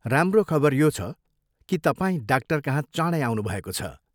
राम्रो खबर यो छ कि तपाईँ डाक्टरकहाँ चाँडै आउनुभएको छ।